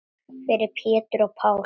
Fyrir Pétur og Pál.